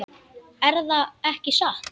Erða ekki satt?